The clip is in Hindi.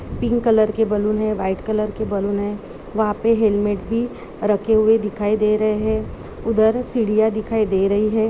पिंक कलर की बल्लून है वाइट कलर की बल्लून है वह पे हेलमेट भी रखे हुए दिखाई दे रहे है उधर सीढ़ियां दिखाई दे रहे हैं।